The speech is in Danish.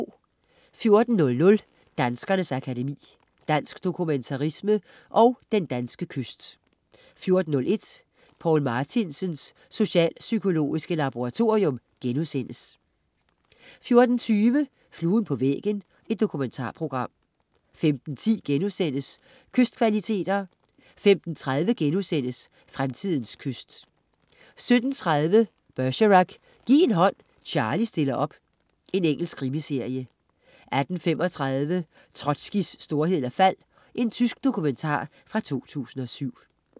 14.00 Danskernes Akademi. Dansk dokumentarisme & Den danske kyst 14.01 Poul Martinsens socialpsykologiske laboratorium* 14.25 Fluen på væggen. Dokumentarprogram 15.10 Kystkvaliteter* 15.30 Fremtidens kyst* 17.30 Bergerac: Giv en hånd, Charlie stiller op. Engelsk krimiserie 18.35 Trotskijs storhed og fald. Tysk dokumentar fra 2007